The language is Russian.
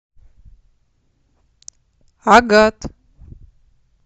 агат